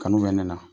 Kanu bɛ ne la